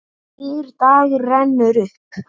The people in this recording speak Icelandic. Nýr dagur rennur upp.